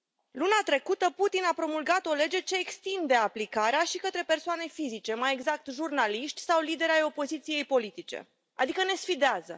Luna trecută, Putin a promulgat o lege ce extinde aplicarea și către persoane fizice, mai exact jurnaliști sau lideri ai opoziției politice, adică ne sfidează.